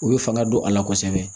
U bɛ fanga don a la kosɛbɛ